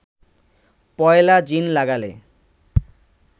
পয়লা জিন লাগালে